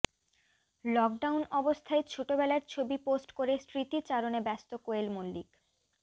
lockdown অবস্থায় ছোটবেলার ছবি পোস্ট করে স্মৃতিচারণে ব্যস্ত কোয়েল মল্লিক